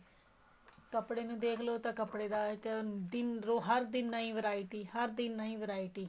ਕੱਪੜੇ ਨੂੰ ਦੇਖਲੋ ਤਾਂ ਕੱਪੜੇ ਦਾ ਦਿਨ ਹਰ ਦਿਨ ਨਈ variety ਹਰ ਦਿਨ ਨਈ variety